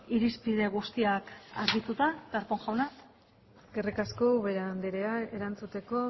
irizpide guztiak argituta darpón jauna eskerrik asko ubera andrea erantzuteko